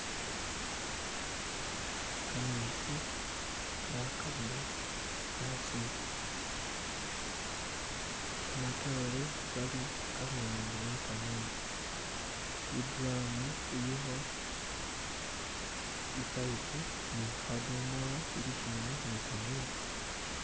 kametsi kali khakabila asi nya, kamatore kali aluwande wekametsi iduramu iliho ipayipo nihadomolo bilishimbi ni kametsi